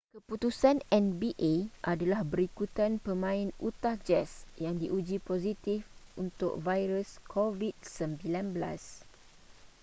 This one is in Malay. keputusan nba adalah berikutan pemain utah jazz yang diuji positif untuk virus covid-19